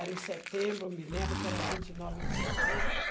Era em setembro, me lembro que era vinte e nove de setembro.